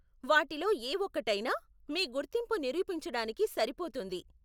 వాటిలో ఏ ఒక్కటైనా మీ గుర్తింపు నిరూపించడానికి సరిపోతుంది.